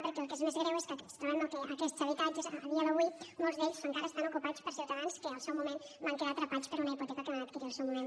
perquè el que és més greu és que ens trobem que aquests habitatges a dia d’avui molts encara estan ocupats per ciutadans que al seu moment van quedar atrapats per una hipoteca que van adquirir al seu moment